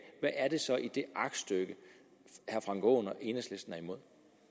hvad er det så i det aktstykke herre frank aaen og enhedslisten er imod